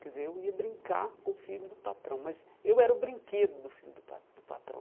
Quer dizer, eu ia brincar com o filho do patrão, mas eu era o brinquedo do filho do pa do patrão.